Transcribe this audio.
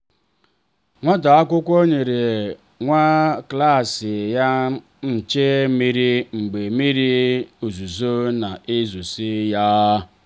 nwata akwụkwọ nyere nwa klaasị ya nche mmiri mgbe mmiri ozuzo na ezosa ya.